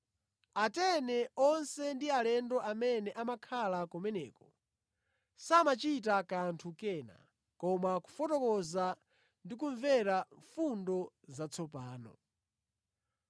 Atene onse ndi alendo amene amakhala kumeneko samachita kanthu kena koma kufotokoza ndi kumvera fundo zatsopano.